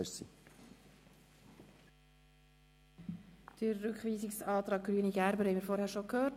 Die Begründung des Rückweisungsantrags Gerber/Grüne haben wir vorhin bereits gehört.